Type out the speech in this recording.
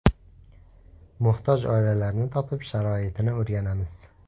Muhtoj oilalarni topib, sharoitini o‘rganamiz.